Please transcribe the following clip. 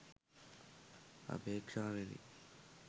අපේක්ෂාවෙනි.